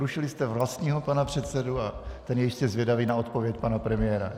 Rušili jste vlastního pana předsedu a ten je jistě zvědavý na odpověď pana premiéra.